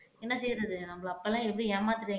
என்ன செய்றது நம்மள அப்ப எல்லாம் எப்படி ஏமாத்திடு